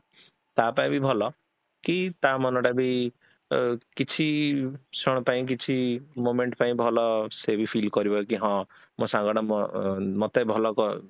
ତା ପାଇଁ ବି ଭଲ କି ତା ମନଟା ବି ଅ କିଛି ପାଇଁ କିଛି moment ପାଇଁ ଭଲ ସେବି feel କରିବ କି ହଁ ମୋ ସାଙ୍ଗଟା ମୋ ଅ ମତେ ଭଲ